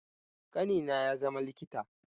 Ƙanina ya zama likita